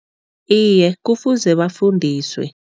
Iye, kufuze bafundiswe.